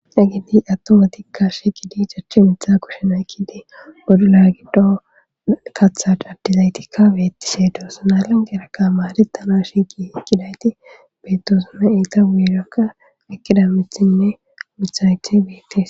dagedi atto matikka she gidi jachchi mitha kushenaykidi bodu la gido katha dabdizaytikka beettishe doosanalan gerakka maaritana shigi ekkidayti beettosuna iita wuelekka ekidamethinne mithaythe beettis